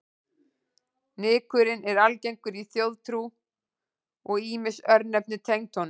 Nykurinn er algengur í þjóðtrú og ýmis örnefni tengd honum.